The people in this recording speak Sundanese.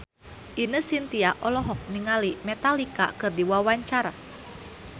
Ine Shintya olohok ningali Metallica keur diwawancara